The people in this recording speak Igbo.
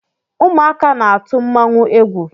Ụmụaka na-atụ mmanwụ égwú.